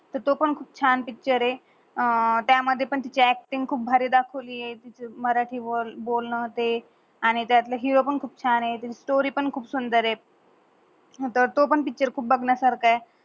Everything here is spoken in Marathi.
त्यो पण खुप छान पिक्चर आहे. त्या मधे पण तिझा अक्टिंग खूप भारी दाखवली आहे. तिझ्या मराटी बोल बोलन ते आणि त्यातल हिरो पण खूप छान आह, स्टोरी पण खूप सुंदर आहे. त्यो पण पिक्चर खूप बगण्या सार्क आहे.